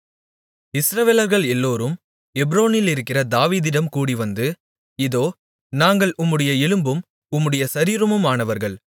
இஸ்ரவேலர்கள் எல்லோரும் எப்ரோனிலிருக்கிற தாவீதிடம் கூடிவந்து இதோ நாங்கள் உம்முடைய எலும்பும் உம்முடைய சரீரமுமானவர்கள்